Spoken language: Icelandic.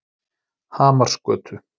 Hamarsgötu